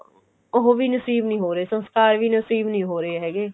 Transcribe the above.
ਉਹ ਵੀ ਨਸੀਬ ਨਹੀਂ ਹੋ ਰਹੇ ਸੰਸਕਾਰ ਵੀ ਨਸੀਬ ਨਹੀਂ ਹੋ ਰਹੇ ਹੈ ਗੇ